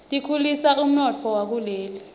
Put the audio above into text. tikhulisa umnotfo wakuleli